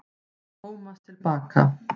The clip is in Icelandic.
Tómas til baka.